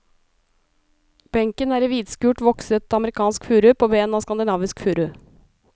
Benken er i hvitskurt, vokset amerikansk furu på ben av skandinavisk furu.